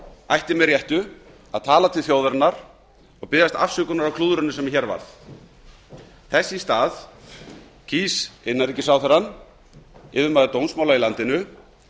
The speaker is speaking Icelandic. ætti með réttu að tala til þjóðarinnar og biðjast afsökunar á klúðrinu sem hér varð þess í stað kýs innanríkisráðherrann yfirmaður dómsmála í landinu